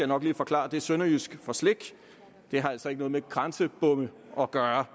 nok lige forklare at det er sønderjysk for slik det har altså ikke noget med grænsebomme at gøre